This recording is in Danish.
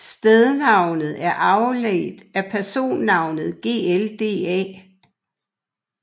Stednavnet er afledt af personnavnet glda